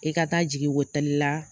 I ka taa jigin ko tali la